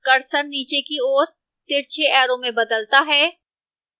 cursor नीचे की ओर तिरछे arrow में बदलता है